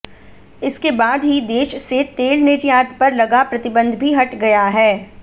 इसके बाद ही देश से तेल निर्यात पर लगा प्रतिबंध भी हट गया है